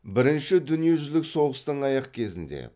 бірінші дүниежүзілік соғыстың аяқ кезінде